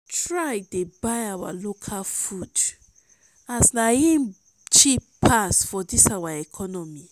try dey buy our local food as na im go cheap pass for dis economy